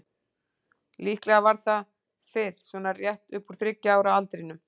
Líklega var það fyrr, svona rétt upp úr þriggja ára aldrinum.